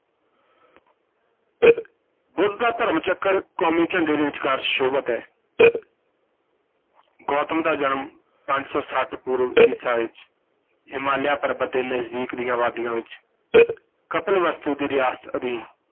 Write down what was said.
ਬੁੱਧ ਦਾ ਧਰਮ-ਚੱਕਰ ਕੌਮੀ ਝੰਡੇ ਦੇ ਵਿਚਕਾਰ ਸੁਸ਼ੋਭਿਤ ਹੈ ਗੌਤਮ ਦਾ ਜਨਮ ਪੰਜ ਸੌ ਛੱਠ ਪੂਰਬ ਈਸਾ ਵਿਚ ਹਿਮਾਲਿਆ ਪਰਬਤ ਦੇ ਨਜ਼ਦੀਕ ਦੀਆਂ ਵਾਦੀਆਂ ਵਿਚ ਕਪਿਲਵਸਤੂ ਦੀ ਰਿਆਸਤ ਅਧੀਨ